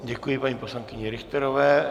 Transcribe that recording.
Děkuji paní poslankyni Richterové.